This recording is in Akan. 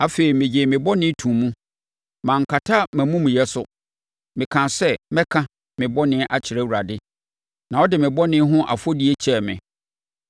Afei, megyee me bɔne too mu. Mankata mʼamumuyɛ so. Mekaa sɛ, “Mɛka me bɔne akyerɛ Awurade,” na wode me bɔne ho afɔdie kyɛɛ me.